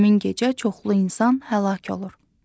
Həmin gecə çoxlu insan həlak olur.